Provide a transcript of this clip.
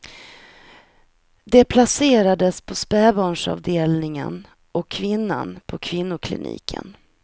Det placerades på spädbarnsavdelningen och kvinnan på kvinnokliniken.